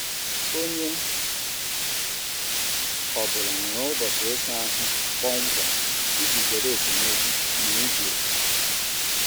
Onye ọ bụla nwere ụbọchị ịsa ahụ kpọmkwem iji zere esemokwu n'iji otu.